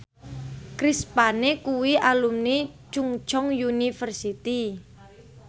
Chris Pane kuwi alumni Chungceong University